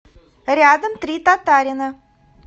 рядом три татарина